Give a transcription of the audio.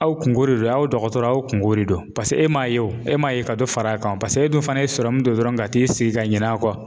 Aw kunko de don ,aw dɔgɔtɔrɔw aw kunko de don .Paseke e m'a ye wo, e m'a ye ka dɔ fara kan .Paseke e dun fana ye don dɔrɔn ka t'i sigi ka ɲin'a kɔ.